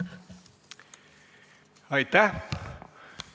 Aitäh!